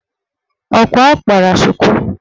Ọkwa ọ kpara shuku?